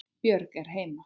Björg er heima.